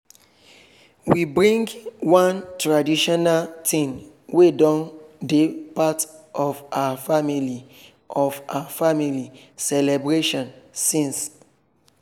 we bring one traditional thing wey don dey part of her family of her family celebration since.